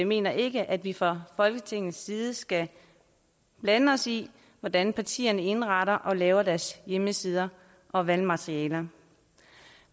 mener ikke at vi fra folketingets side skal blande os i hvordan partierne indretter og laver deres hjemmesider og valgmaterialer